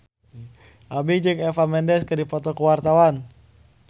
Aming jeung Eva Mendes keur dipoto ku wartawan